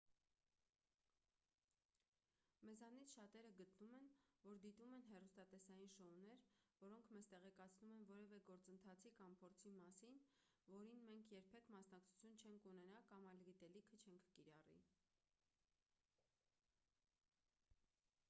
մեզանից շատերը գտնում են որ դիտում են հեռուստատեսային շոուներ որոնք մեզ տեղեկացնում են որևէ գործընթացի կամ փորձի մասին որին մենք երբեք մասնակցություն չենք ունենա կամ այդ գիտելիքը չենք կիրառի